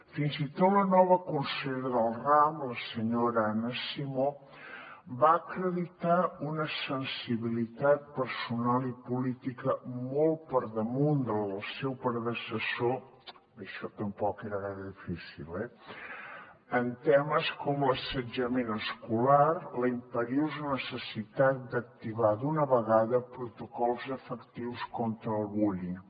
fins i tot la nova consellera del ram la senyora anna simó va acreditar una sensibilitat personal i política molt per damunt de la del seu predecessor això tampoc era gaire difícil eh en temes com l’assetjament escolar la imperiosa necessitat d’activar d’una vegada protocols efectius contra el bullying